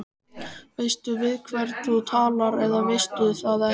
Veistu við hvern þú talar eða veistu það ekki.